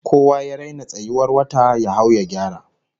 Kowa ya raina tsayuwar wata, ya hau ya gyara!